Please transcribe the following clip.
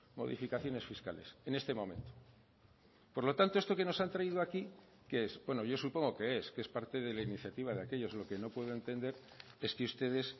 modificaciones fiscales en este momento por lo tanto esto que nos han traído aquí qué es bueno yo supongo qué es que es parte de la iniciativa de aquellos lo que no puedo entender es que ustedes